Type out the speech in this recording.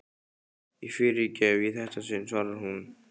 Ég fyrirgef í þetta sinn, svarar hún.